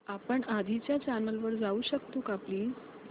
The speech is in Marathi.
आपण आधीच्या चॅनल वर जाऊ शकतो का प्लीज